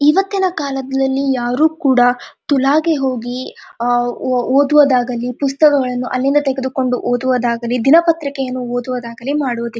ಇವತ್ತಿನ ಕಾಲದಲ್ಲಿ ಯಾರು ಕೂಡ ತುಲಾಗೆ ಹೋಗಿ ಅಹ್ ಓದುವುದಾಗಲಿ ಪುಸ್ತಕಗಳನ್ನು ಅಲ್ಲಿಂದ ತೆಗೆದುಕೊಂಡು ಓದುವುದಾಗಲಿ ದಿನಪತ್ರಿಕೆಯನ್ನು ಓದುವುದಾಗಲಿ ಮಾಡುವುದಿಲ್ಲಾ.